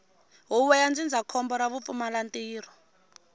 huvo ya ndzindzakhombo ra vupfumalantirho